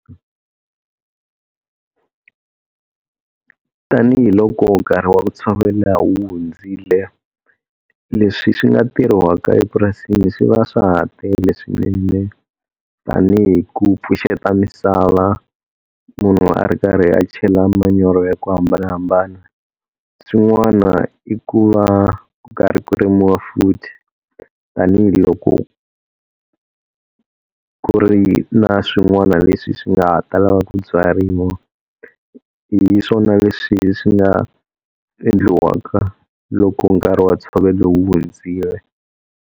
Tanihiloko nkarhi wa ku tshovela wu hundzile, leswi swi nga tirhiwaka epurasini swi va swa ha tele swinene, tani hi ku pfuxeta misava munhu a ri karhi a chela manyoro ya ku hambanahambana. Swin'wana i ku va ku karhi ku rimiwa futhi tanihiloko ku ri na swin'wana leswi swi nga ta lava ku byariwa. Hi swona leswi swi nga endliwaka loko nkarhi wa ntshovelo wu hundzile.